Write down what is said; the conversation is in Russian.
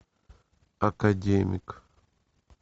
академик